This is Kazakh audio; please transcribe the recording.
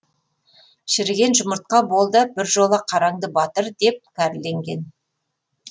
шіріген жұмыртқа бол да біржола қараңды батыр деп кәрленген